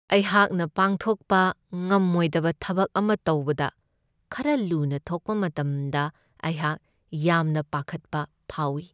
ꯑꯩꯍꯥꯛꯅ ꯄꯥꯡꯊꯣꯛꯄ ꯉꯝꯃꯣꯏꯗꯕ ꯊꯕꯛ ꯑꯃ ꯇꯧꯕꯗ ꯈꯔ ꯂꯨꯅ ꯊꯣꯛꯄ ꯃꯇꯝꯗ ꯑꯩꯍꯥꯛ ꯌꯥꯝꯅ ꯄꯥꯈꯠꯄ ꯐꯥꯎꯢ ꯫